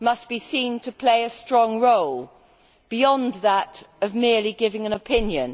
be seen to play a strong role beyond that of merely giving an opinion.